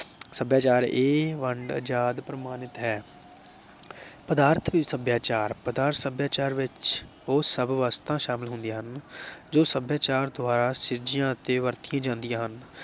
ਸਭਿਆਚਾਰ। ਇਹ ਵੰਡ ਅਜਾਦ ਪ੍ਰਮਾਨਤ ਹੈ। ਪਦਾਰਥਕ ਸਭਿਆਚਾਰ, ਪਦਾਰਥ ਸਭਿਆਚਾਰ ਵਿਚ ਉਹ ਸਭ ਵਸਤਾਂ ਸ਼ਾਮਲ ਹੁੰਦੀਆਂ ਹਨ ਜੋ ਸਭਿਆਚਾਰ ਦੁਆਰਾ ਸਿਰਜੀਆਂ ਅਤੇ ਵਰਤੀਆਂ ਜਾਂਦੀਆਂ ਹਨ ।